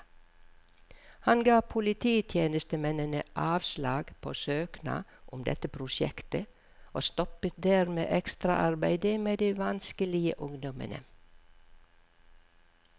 Han ga polititjenestemennene avslag på søknad om dette prosjektet, og stoppet dermed ekstraarbeidet med de vanskelige ungdommene.